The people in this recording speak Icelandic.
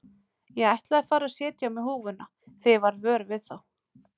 Ég ætlaði að fara að setja á mig húfuna þegar ég varð vör við þá.